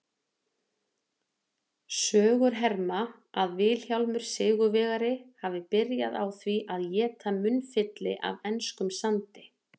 Sögur herma að Vilhjálmur sigurvegari hafi byrjað á því að éta munnfylli af enskum sandi.